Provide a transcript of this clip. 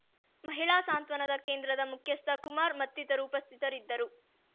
ಮಹಿಳಾ ಸಾಂತ್ವನಾ ಕೇಂದ್ರದ ಮುಖ್ಯಸ್ಥ ಕುಮಾರ್ ಮತ್ತಿತರು ಉಪಸ್ಥಿತರಿದ್ದರು